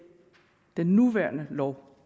den nuværende lov